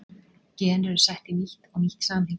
gen eru sett í nýtt og nýtt samhengi